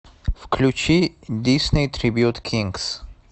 включи дисней трибьют кингс